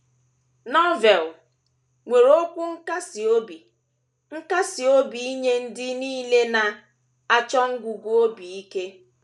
Novel nwere okwu nkasi obi nkasi obi nye ndị nile na - achọsi ngụgụ obi ike.